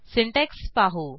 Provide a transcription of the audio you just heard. syntax पाहू